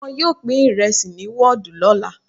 Wọn yóò pín ìrẹsì ní wọ́ọ̀dù lọ́la.